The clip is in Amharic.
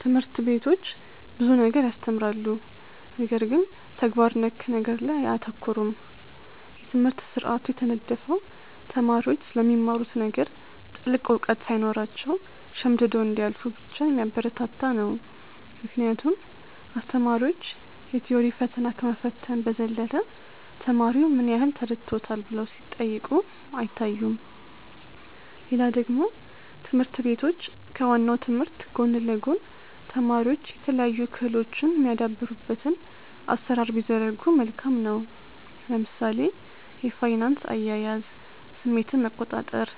ትምህርት ቤቶች ብዙ ነገር ያስተምራሉ ነገር ግን ተግባር ነክ ነገር ላይ አያተኩሩም። የትምህርት ስርአቱ የተነደፈው ተማሪዎች ስለሚማሩት ነገር ጥልቅ እውቀት ሳይኖራቸው ሸምድደው እንዲያልፉ ብቻ የሚያበረታታ ነው ምክንያቱም አስተማሪዎች የ ቲዎሪ ፈተና ከመፈተን በዘለለ ተማሪው ምን ያህል ተረድቶታል ብለው ሲጠይቁ አይታዩም። ሌላ ደግሞ ትምህርት ቤቶች ከ ዋናው ትምህርት ጎን ለ ጎን ተማሪዎች የተለያዩ ክህሎቶች የሚያዳብሩበትን አሰራር ቢዘረጉ መልካም ነው። ለምሳሌ የፋይናንስ አያያዝ፣ ስሜትን መቆጣር፣